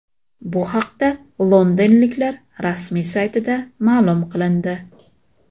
Bu haqda londonliklar rasmiy saytida ma’lum qilindi .